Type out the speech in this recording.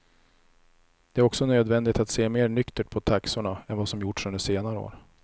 Det är också nödvändigt att se mer nyktert på taxorna än vad som gjorts under senare år.